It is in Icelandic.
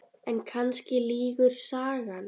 En kannski lýgur sagan.